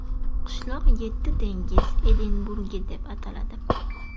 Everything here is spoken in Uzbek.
Qishloq yetti dengiz Edinburgi deb ataladi.